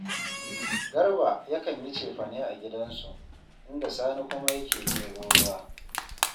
Garba ne yakan yi cefane a gidansu, inda Sani kuma yake ɗebo ruwa